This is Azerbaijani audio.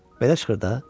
Belə çıxır da?